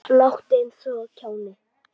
Láttu eins og kjáni.